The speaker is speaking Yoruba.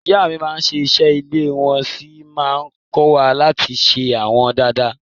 Ìyá mi máa n ṣe ìṣe ilé wọ́n sí má n kọ́wa láti ṣe wọ́n dada.